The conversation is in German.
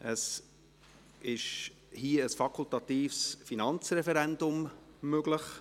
Hier ist ein fakultatives Finanzreferendum möglich: